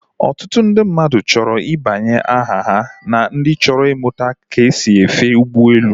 Otutu ndị mmadụ chọrọ ị debanye aha ha na ndị chọrọ imụta ka esi efe ụgbọelu